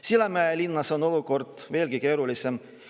Sillamäe linnas on olukord veelgi keerulisem.